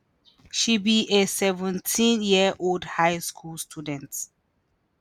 she be a 17-year-old high school student.